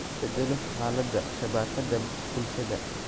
beddelo xaaladda shabakada bulshada